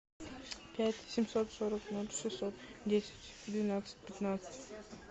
пять семьсот сорок ноль шестьсот десять двенадцать пятнадцать